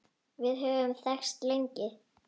Við höfum þekkst lengi.